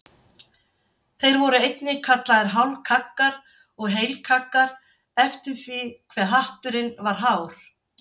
Þeir voru einnig kallaðir hálfkaggar og heilkaggar eftir því hve hatturinn var hár.